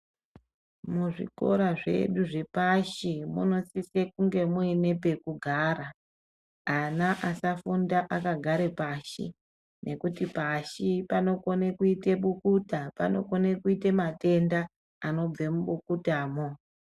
Muzvikora zvedu zvepashi munosisa kunge muine pekugara ana asafunda akagara pashi nekuti pashi panokona kuita bukuta panokona kuita matenda anobva mubukuta mwo.